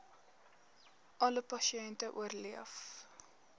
alle pasiënte oorleef